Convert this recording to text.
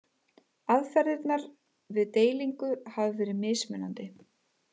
Aðferðirnar við deilingu hafa verið mismunandi.